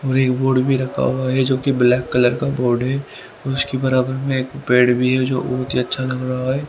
और एक बोर्ड भी रखा हुआ हैं जोकि ब्लैक कलर का बोर्ड है उसके बराबर में एक पेड़ भी है जो बहुत ही अच्छा लग रहा है।